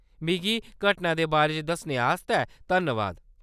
मिगी घटना दे बारे च दस्सने आस्तै धन्नबाद।